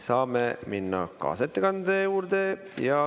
Saame minna kaasettekande juurde.